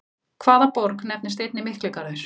Hvaða borg nefnist einnig Mikligarður?